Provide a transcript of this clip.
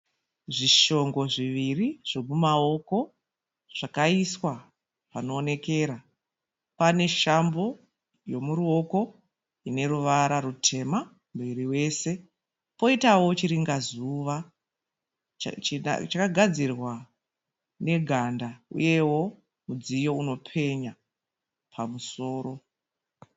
Zvishongo zviviri zvomumaoko zvakaiswa panoonekera. Pane shambo yomuruoko ine ruvara rutema muviri wese. Poitawo chiringa zuva chakagadzirwa neganda uyewo mudziyo unopenya pamusoro.